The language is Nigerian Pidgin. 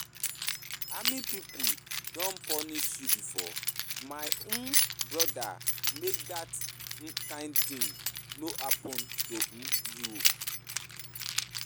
Army pipu don punish you before? my um broda make dat kind tin no happen to um you.